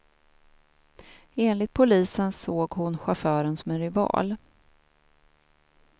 Enligt polisen såg hon chauffören som en rival.